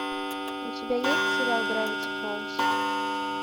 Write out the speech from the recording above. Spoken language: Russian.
у тебя есть сериал гравити фолз